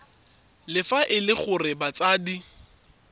fa e le gore batsadi